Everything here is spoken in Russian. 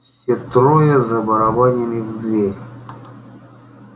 все трое забарабанили в дверь